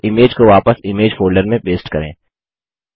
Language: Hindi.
अब इमेज को वापस इमेज फोल्डर में पेस्ट करें